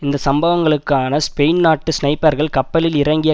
இந்த சம்பவங்ககான ஸ்பெயின் நாட்டு ஸ்னைப்பர்கள் கப்பலில் இறங்கிய